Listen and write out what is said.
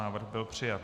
Návrh byl přijat.